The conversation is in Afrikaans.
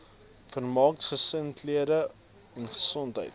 vermaak gesinsaangeleenthede gesondheid